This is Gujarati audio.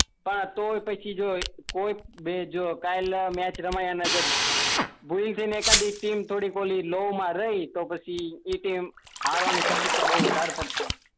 હા તો ને પછી જો કોઈ બી જો કાલ મેચ રમાય ને થોડી બોલિંગ લો મા રહી એ ટીમ હારવાની શક્યતા બઉ બધારે પડતી છે